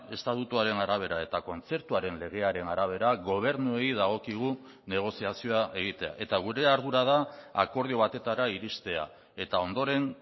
estatutuaren arabera eta kontzertuaren legearen arabera gobernuei dagokigu negoziazioa egitea eta gure ardura da akordio batetara iristea eta ondoren